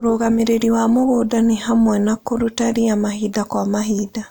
ũrũgamĩrĩri wa mũgunda nĩhamwe na kũruta ria mahinda kwa mahinda.